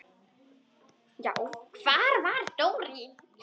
Já, hvar var Dóri?